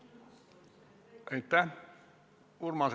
Aitäh!